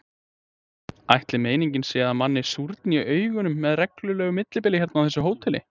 Ætli meiningin sé að manni súrni í augum með reglulegu millibili hérna á þessu hóteli?